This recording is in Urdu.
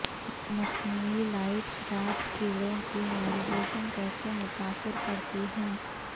مصنوعی لائٹس رات کیڑوں کی نیویگیشن کیسے متاثر کرتی ہیں